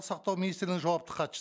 сақтау министрінің жауапты хатшы